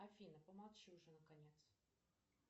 афина помолчи уже наконец